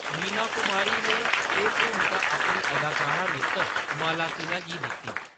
मीना कुमारी ने एह्‌‌ भूमका अपनी अदाकारा मित्तर माला सिन्हा गी दित्ती।